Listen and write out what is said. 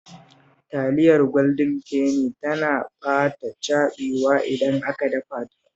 Taliyar Gwaldin Feni tana ba ta caɓewa idan aka dafa ta